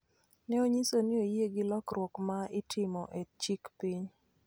ne onyiso ni oyie gi lokruok ma itimo e chik piny